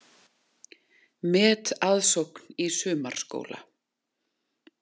Metaðsókn í sumarskóla